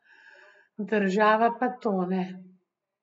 Država pa tone.